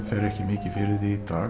fer ekki mikið fyrir því í dag